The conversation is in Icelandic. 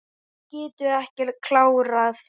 Hún getur ekki klárað.